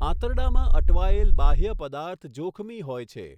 આંતરડામાં અટવાયેલ બાહ્ય પદાર્થ જોખમી હોય છે.